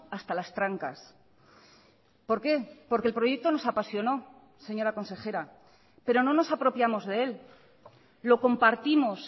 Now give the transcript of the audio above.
hasta las trancas por qué porque el proyecto nos apasionó señora consejera pero no nos apropiamos de él lo compartimos